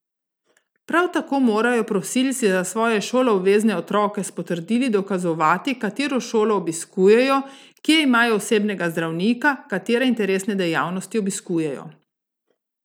Prav tako morajo prosilci za svoje šoloobvezne otroke s potrdili dokazovati, katero šolo obiskujejo, kje imajo osebnega zdravnika, katere interesne dejavnosti obiskujejo ...